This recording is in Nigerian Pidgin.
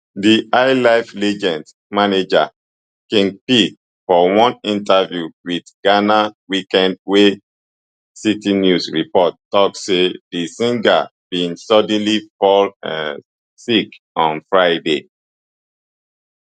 di highlife legend manager king pee for one interview wit ghana weekend wey citinews report tok say di singer bin suddenly fall um sick on friday